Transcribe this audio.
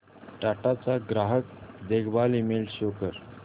टाटा चा ग्राहक देखभाल ईमेल शो कर